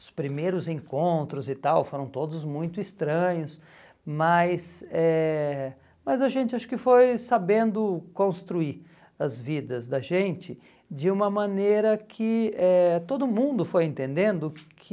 Os primeiros encontros e tal foram todos muito estranhos, mas eh mas a gente acho que foi sabendo construir as vidas da gente de uma maneira que eh todo mundo foi entendendo que...